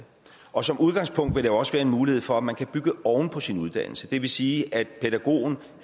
og som udgangspunkt vil der også være en mulighed for at man kan bygge oven på sin uddannelse det vil sige at pædagogen